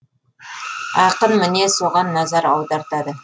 ақын міне соған назар аудартады